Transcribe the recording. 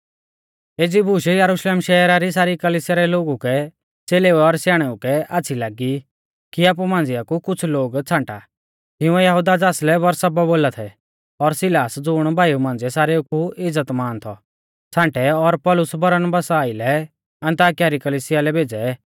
एज़ी बूश यरुशलेम शहरा री सारी कलिसिया रै लोगु कै च़ेलेऊ और स्याणेऊ कै आच़्छ़ी लागी कि आपु मांझ़िया कु कुछ़ लोगु छ़ांटा तिंउऐ यहुदा ज़ासलै बरसब्बा बोला थै और सिलास ज़ुण भाईऊ मांझ़िऐ सारेऊ कु इज़्ज़तमान थौ छ़ांटै और पौलुस बरनबासा आइलै अन्ताकिया री कलिसिया लै भेज़ै